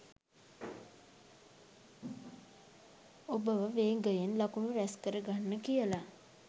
ඔබව වේගයෙන් ලකුණු රැස් කර ගන්න කියල